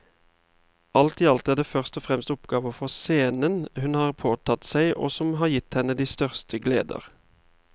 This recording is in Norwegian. Alt i alt er det først og fremst oppgaver for scenen hun har påtatt seg og som har gitt henne de største gleder.